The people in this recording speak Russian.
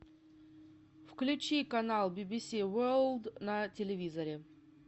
включи канал би би си ворлд на телевизоре